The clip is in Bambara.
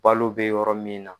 Balo bɛ yɔrɔ min na.